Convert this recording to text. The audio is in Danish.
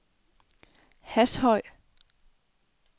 Hashøj